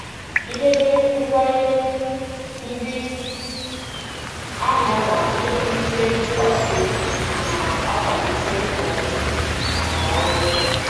Idebe nkwa nye ndị ahịa na-ewulite ntụkwasị obi ma na-akwalite nkwanye ùgwù maka ọrụ m.